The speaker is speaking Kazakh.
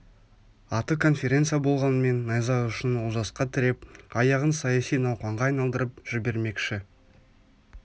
аты конференция болғанмен найза ұшын олжасқа тіреп аяғын саяси науқанға айналдырып жібермекші